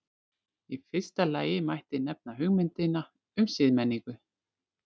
í fyrsta lagi mætti nefna hugmyndina um siðmenningu